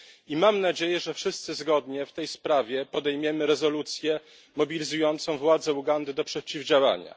I mam nadzieję, że wszyscy zgodnie w tej sprawie podejmiemy rezolucję mobilizującą władze Ugandy do przeciwdziałania.